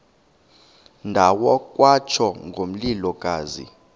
ndawo kwatsho ngomlilokazi